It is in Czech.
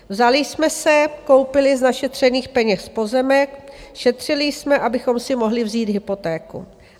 Vzali jsme se, koupili z našetřených peněz pozemek, šetřili jsme, abychom si mohli vzít hypotéku.